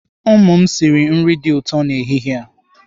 Ụmụ m sịrị nri dị ụtọ n'ehihie a.